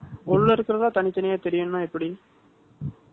உள்ளே இருக்கிறதா, தனித்தனியா தெரியணும்ன்னா, எப்படி?